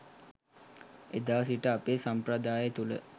එදා සිට අපේ සම්ප්‍රදාය තුළ